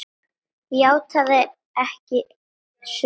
játaði ekki sök í málinu.